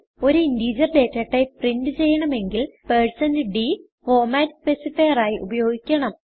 ഒരു integer data type print ചെയ്യണമെങ്കിൽ160d format specifier ആയി ഉപയോഗിക്കണം